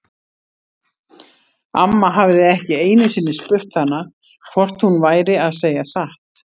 Amma hafði ekki einu sinni spurt hana hvort hún væri að segja satt.